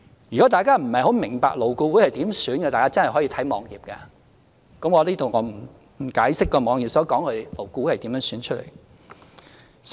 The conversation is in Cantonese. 如果大家不太明白勞顧會委員如何選出，可以瀏覽有關網頁，我在此不解釋該網頁所述勞顧會委員是如何選出的。